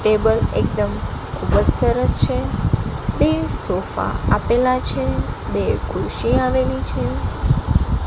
Table એકદમ ખુબજ સરસ છે બે સોફા આપેલા છે બે ખુરશી આવેલી છે.